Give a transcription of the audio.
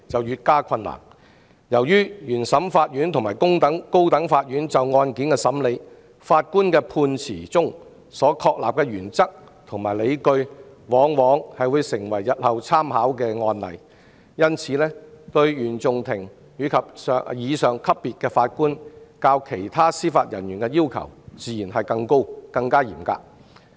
由於原訟法庭及高等法院法官的判詞中所確立的原則和理據，往往成為日後參考的案例，對原訟法庭及以上級別法官的要求自然較其他司法人員更高、更嚴格。